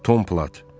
Tom Plat.